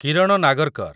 Kiran Nagarkar